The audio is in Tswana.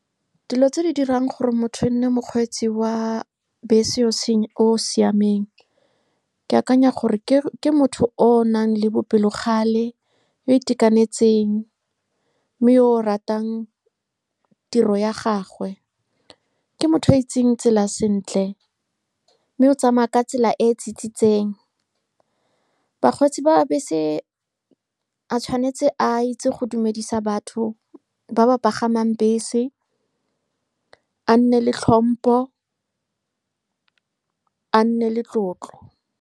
Dilo tse di dirang gore motho e nne mokgweetsi wa bese o yo o siameng, ke akanya gore ke motho o o nang le bopelokgale, o itekanetseng, mme yo o ratang tiro ya gagwe. Ke motho o itseng tsela sentle, mme o tsamaya ka tsela e e tsitsitseng. Bakgweetsi ba bese ba tshwanetse ba itse go dumedisa batho ba ba pagamang bese, a nne le tlhompo, a nne le tlotlo.